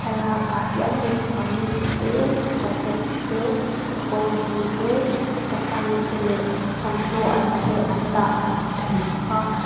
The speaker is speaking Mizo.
thlalakah hian mipa kamis te jacket te kekawr bul te chapal te leh thawmhnaw an thle an dah kan hmu thei bawk a.